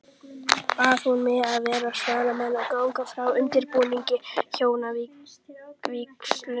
Bað hún mig vera svaramann og ganga frá undirbúningi hjónavígslunnar.